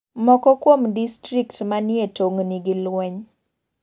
Moko kuom distrikt manie tong' ni gi lweny.